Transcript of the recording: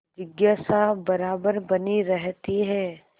जिज्ञासा बराबर बनी रहती है